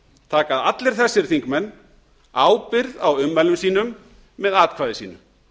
taka allir þessir þingmenn ábyrgð á ummælum sínum með atkvæði sínu